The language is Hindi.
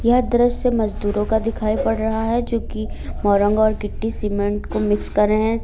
यह दृश्य मजदूरों का दिखाई पड़ रहा है जो की मोरंग और गिट्टी सीमेंट को मिक्स कर रहे है।